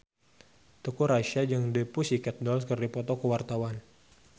Teuku Rassya jeung The Pussycat Dolls keur dipoto ku wartawan